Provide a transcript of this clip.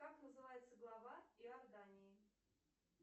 как называется глава иордании